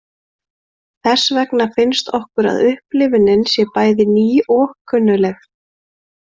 Þess vegna finnst okkur að upplifunin sé bæði ný og kunnugleg.